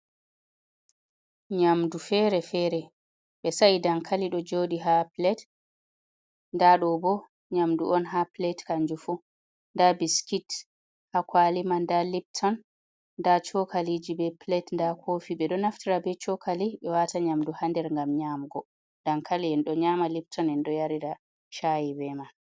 Nyamdu fere-fere, ɓe sai dankali ɗo joɗi ha plet nda ɗo bo nyamdu on ha plet kanjum fu, nda biskit ha kwali man nda lipton nda chokaliji be plet, nda kofi ɓe ɗo naftira be chokali ɓe wata nyamdu ha nder ngam nyamgo dankalin, ɗo nyama lipton en ɗo yarira chai ɓe man.